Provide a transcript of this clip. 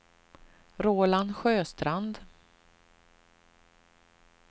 Roland Sjöstrand